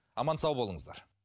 аман сау болыңыздар